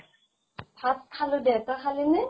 ভাত খালো দেম তই খালি নে?